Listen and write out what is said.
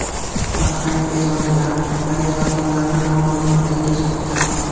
Bahrayn Eron bilan aviaqatnovlarni noma’lum muddatgacha to‘xtatdi.